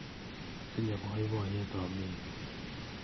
Atinye poipoiyet aami yu